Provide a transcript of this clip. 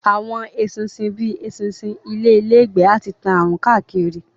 Àwọn eṣinṣin bíi eṣinṣin ilé lè gbé àti tán àrùn káàkiri